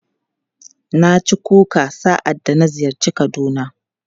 Na ci kuka sa'adda na ziyarci Kaduna.